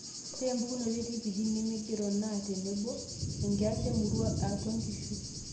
Ore impukunot e TPD nemeigero naa tenebo, enkias emurua eatua nkishu